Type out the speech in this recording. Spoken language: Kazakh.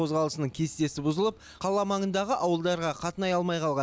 қозғалысының кестесі бұзылып қала маңындағы ауылдарға қатынай алмай қалған